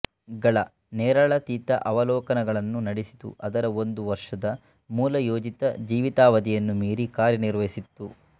ಗಳ ನೇರಳಾತೀತ ಅವಲೋಕನಗಳನ್ನು ನಡೆಸಿತು ಅದರ ಒಂದು ವರ್ಷದ ಮೂಲ ಯೋಜಿತ ಜೀವಿತಾವಧಿಯನ್ನು ಮೀರಿ ಕಾರ್ಯ ನಿರ್ವಹಿಸಿತ್ತು